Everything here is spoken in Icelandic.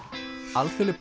alþjóðleg